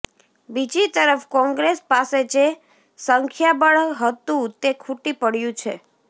બીજી તરફ કોંગ્રેસ પાસે જે સંખ્યાબળ હતું તે ખૂટી પડ્યુ છે